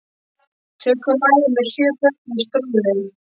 Tökum mæður með sjö börn í strollu.